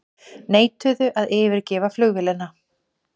Neituðu að yfirgefa flugvélina